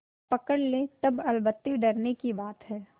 पकड़ ले तब अलबत्ते डरने की बात है